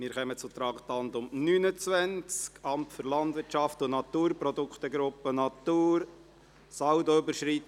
Wir kommen zum Traktandum 29, Amt für Landwirtschaft und Natur, Produktgruppe Natur, Saldoüberschreitung.